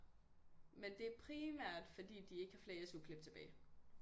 Men det er primært fordi de ikke har flere SU-klip tilbage